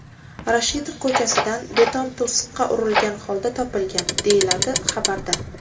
Rashidov ko‘chasidan, beton to‘siqqa urilgan holda topilgan, deyiladi xabarda.